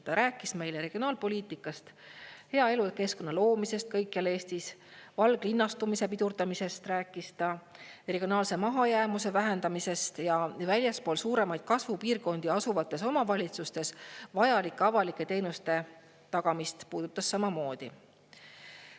Ta rääkis meile regionaalpoliitikast, hea elukeskkonna loomisest kõikjal Eestis, valglinnastumise pidurdamisest rääkis ta, regionaalse mahajäämuse vähendamisest ja väljaspool suuremaid kasvupiirkondi asuvates omavalitsustes vajalike avalike teenuste tagamist puudutas samamoodi.